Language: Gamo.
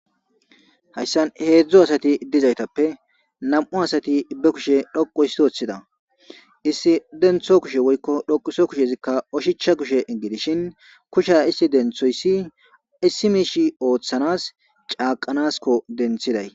Hayssan heedzdzu asathi dizaythappe nam7u asathi ibbe kushe dhoqu issi ooththida; issi denththo kushe woykko dhoquso kushezikka oshichcha kushe gidishin kusha issi denththoyssi issi mishishi ooththanas caaqanaskko denthiday.